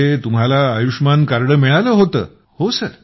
म्हणजे तुम्हाला आयुष्मान कार्ड मिळाले होतं